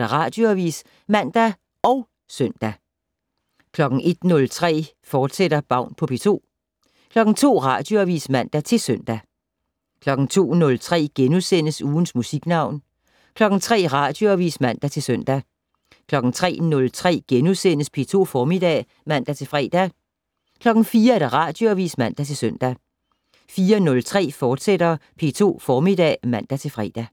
Radioavis (man og søn) 01:03: Baun på P2, fortsat 02:00: Radioavis (man-søn) 02:03: Ugens Musiknavn * 03:00: Radioavis (man-søn) 03:03: P2 Formiddag *(man-fre) 04:00: Radioavis (man-søn) 04:03: P2 Formiddag *(man-fre)